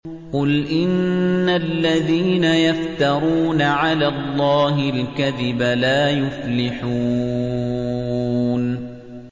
قُلْ إِنَّ الَّذِينَ يَفْتَرُونَ عَلَى اللَّهِ الْكَذِبَ لَا يُفْلِحُونَ